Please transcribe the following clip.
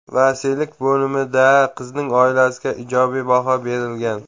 Vasiylik bo‘limida qizning oilasiga ijobiy baho berilgan.